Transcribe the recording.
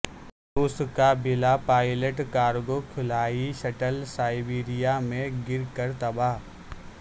رو س کا بلا پائلٹ کارگو خلائی شٹل سائبریا میں گر کر تباہ